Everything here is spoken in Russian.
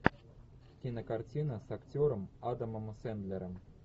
кинокартина с актером адамом сэндлером